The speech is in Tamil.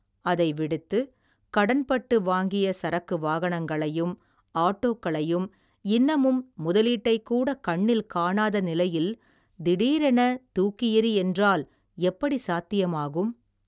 அதைவிடுத்து, கடன்பட்டு வாங்கிய சரக்கு வாகனங்களையும், ஆட்டோக்களையும், இன்னமும் முதலீட்டைக்கூட கண்ணில் காணாத நிலையில், திடீரென தூக்கியெறி என்றால் எப்படி சாத்தியமாகும்.